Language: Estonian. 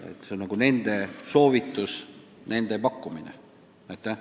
Tegu on Euroopa Metsainstituudi soovitustega.